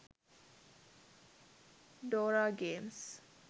dora games